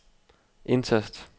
indtast